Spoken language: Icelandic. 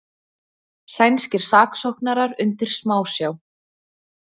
Sænskir saksóknarar undir smásjá